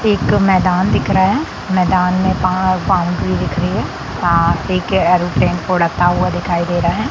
एक मैदान दिख रहा हैं मैदान में बाउंड्री दिख रही हैं एक एयरोप्लेन उड़ता हुआ दिखाई दे रहा हैं।